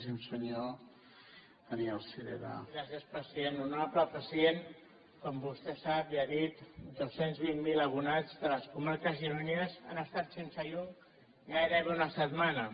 honorable president com vostè sap i ha dit dos cents i vint miler abonats de les comarques gironines han estat sense llum gairebé una setmana